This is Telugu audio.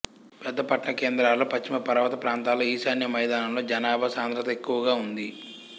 పెద్ద పట్టణ కేంద్రాలలో పశ్చిమ పర్వత ప్రాంతాలలో ఈశాన్య మైదానంలో జనాభా సాంద్రత ఎక్కువగా ఉంది